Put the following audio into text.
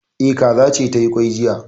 E, kaza ce ta yi kwai jiya